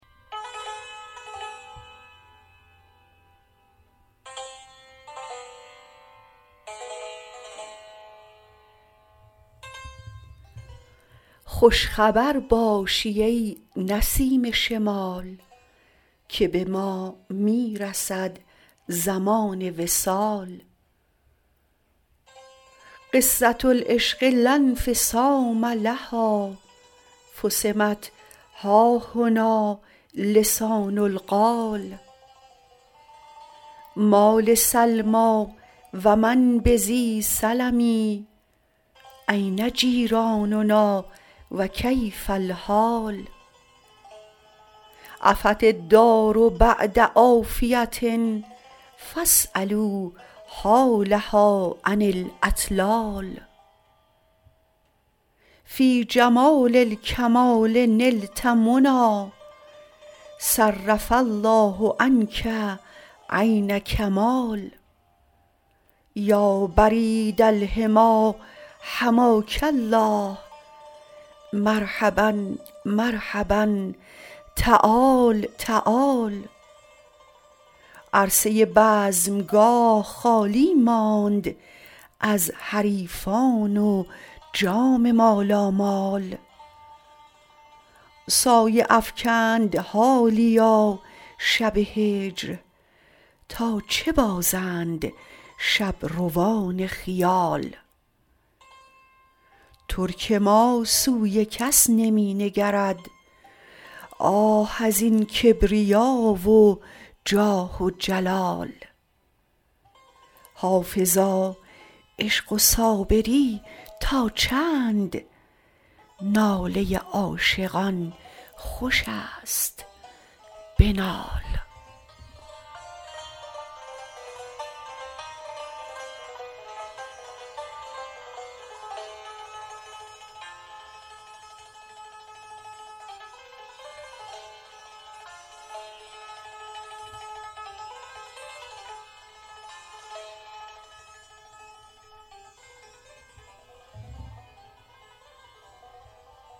خوش خبر باشی ای نسیم شمال که به ما می رسد زمان وصال قصة العشق لا انفصام لها فصمت ها هنا لسان القال ما لسلمی و من بذی سلم أین جیراننا و کیف الحال عفت الدار بعد عافیة فاسألوا حالها عن الاطلال فی جمال الکمال نلت منی صرف الله عنک عین کمال یا برید الحمی حماک الله مرحبا مرحبا تعال تعال عرصه بزمگاه خالی ماند از حریفان و جام مالامال سایه افکند حالیا شب هجر تا چه بازند شبروان خیال ترک ما سوی کس نمی نگرد آه از این کبریا و جاه و جلال حافظا عشق و صابری تا چند ناله عاشقان خوش است بنال